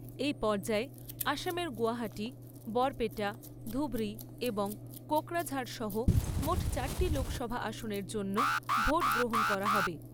এই পর্যায়ে আসামের গৌহাটি, বরপেটা, ধুবরী এবং কোকরাঝাড় সহ মোট চারটি লোকসভা আসনের জন্য ভোট গ্রহণ করা হবে।